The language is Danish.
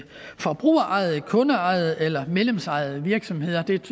forbrugerejede kundeejede eller medlemsejede virksomheder